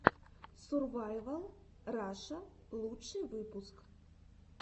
сурвайвал раша лучший выпуск